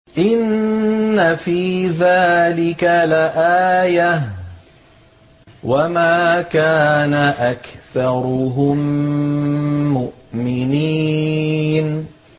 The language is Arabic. إِنَّ فِي ذَٰلِكَ لَآيَةً ۖ وَمَا كَانَ أَكْثَرُهُم مُّؤْمِنِينَ